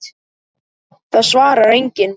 Það svarar enginn